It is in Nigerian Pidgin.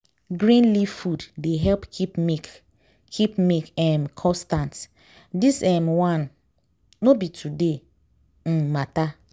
green leaf food dey help keep milk keep milk um constant. this um one no be today um matter